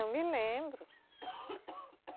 Eu me lembro.